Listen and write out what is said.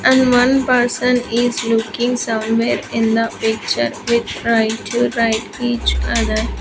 And one person is looking somewhere in the picture with try to write each other.